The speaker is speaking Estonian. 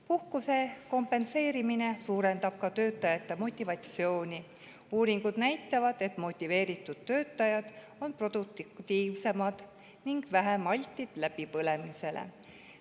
Puhkuse kompenseerimine suurendab ka töötajate motivatsiooni: uuringud näitavad, et motiveeritud töötajad on produktiivsemad ning vähem altid läbipõlemisele.